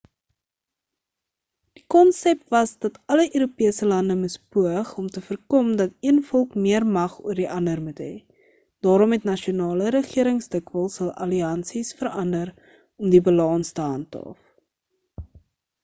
die konsep was dat alle europese lande moes poog om te voorkom dat een volk meer mag oor die ander moet het daarom het nasionale regerings dikwels hul alliansies verander om die balans te handhaaf